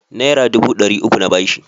Naira dubu ɗari uku na ba shi.